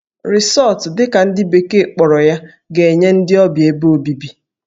Resort' dị ka ndị bekee kpọrọ ya ga-enye ndị ọbịa ebe obibi